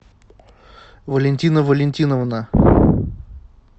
валентина валентиновна